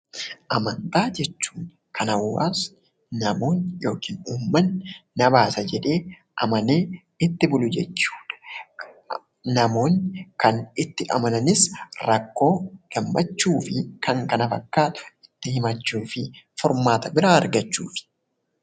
Amantaa jechuun kan hawaasni, namoonni yookin uummanni nabaasa jedhee amanee itti bulu jechuudha. Namoonni kan itti amananis rakkoo, gammachuu fi kan kana fakkaatu itti himachuu fi furmaata biraa argachuufi.